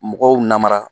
Mɔgɔw namara